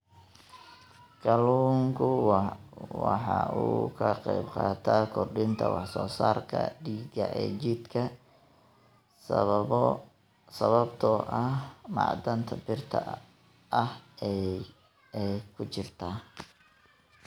Kalluunku waxa uu ka qaybqaataa kordhinta wax soo saarka dhiigga ee jidhka sababtoo ah macdanta birta ah ee ku jirta.